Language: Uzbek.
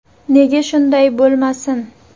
Nega shunday bo‘lmasin?